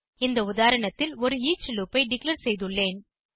இந்த உதாரணத்தில் ஒரு ஈச் லூப் ஐ டிக்ளேர் செய்துள்ளேன்